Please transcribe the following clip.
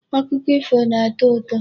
Akụkọ ifo na-atọ ụtọ.